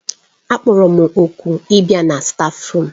Akpọrọ m òkù ịbịa na stáfruum.